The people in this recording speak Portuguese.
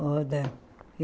Roda.